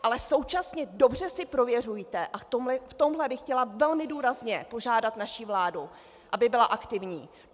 Ale současně dobře si prověřujte, a v tomto bych chtěla velmi důrazně požádat naši vládu, aby byla aktivní.